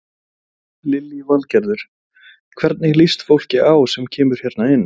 Lillý Valgerður: Hvernig líst fólki á sem kemur hérna inn?